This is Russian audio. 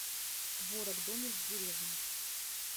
творог домик в деревне